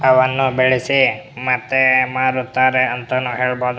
ಅವನ್ನು ಬೆಳೆಸಿ ಮತ್ತೆ ಮಾರುತ್ತಾರೆ ಅಂತಾನೂ ಹೇಳಬಹುದು --